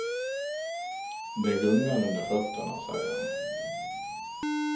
Det gungar under fötterna, säger han.